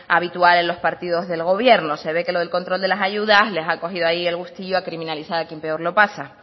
habitual en los partidos del gobierno se ve que lo del control de las ayudas les ha cogido ahí el gustillo a criminalizar a quien peor lo pasa